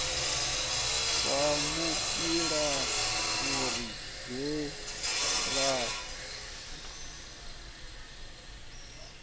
wa muilafuri ahee rambau wa